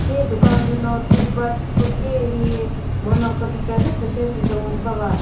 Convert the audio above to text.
tse dukan lü no toothbrush ko shi hihi manyo kükrekre zü süshi süsü bava.